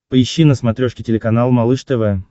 поищи на смотрешке телеканал малыш тв